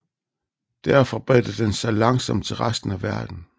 Derfra bredte den sig langsomt til resten af verden